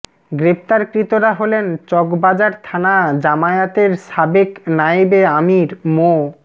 গ্রেফতারকৃতরা হলেন চকবাজার থানা জামায়াতের সাবেক নায়েবে আমির মো